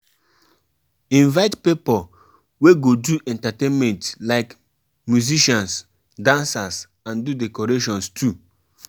Some pipo still dey prefer traditional healers for sickness instead of hospitals.